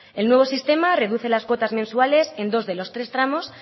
el nuevo sistema reduce las cuotas mensuales en dos de los tres tramos